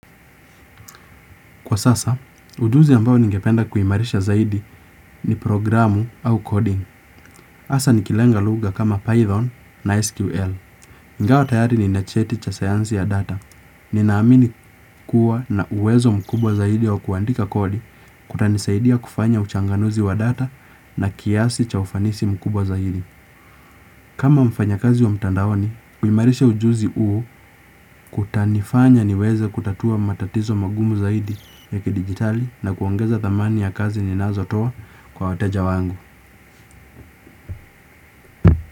Kwa sasa, ujuzi ambao ningependa kuimarisha zaidi ni programu au coding. Asa nikilenga lugha kama Python na SQL. Ingawa tayari nina cheti cha sayansi ya data. Ninaamini kuwa na uwezo mkubwa zaidi wa kuandika kodi kutanisaidia kufanya uchanganuzi wa data na kiasi cha ufanisi mkubwa zaidi. Kama mfanyakazi wa mtandaoni, kuimarisha ujuzi uu kutanifanya niweze kutatua matatizo magumu zaidi ya kidijitali na kuongeza thamani ya kazi ninazotoa kwa wateja wangu.